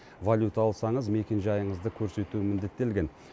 валюта алсаңыз мекенжайыңызды көрсету міндеттелген